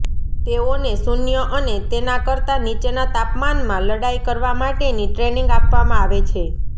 તેઓને શૂન્ય અને તેના કરતા નીચેના તાપમાનમાં લડાઈ કરવા માટેની ટ્રેનિંગ આપવામાં આવે છે